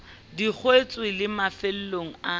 di kwetswe le mafelong a